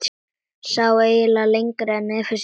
Sá ekki lengra nefi sínu.